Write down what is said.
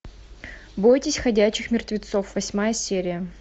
бойтесь ходячих мертвецов восьмая серия